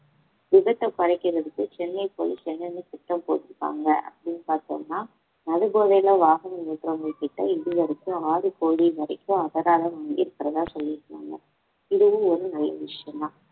விபத்தை குறைக்கிறதுக்கு சென்னை police என்னன்னு திட்டம் போட்டு இருக்காங்க அப்படின்னு பார்த்தோம்ன்னா மது போதையில வாகனம் ஓட்டறவங்ககிட்ட இதுவரைக்கும் ஆறு கோடி வரைக்கும் அபராதம் வாங்கி இருக்கிறதா சொல்லியிருந்தாங்க இதுவும் ஒரு நல்ல விஷயம்தான்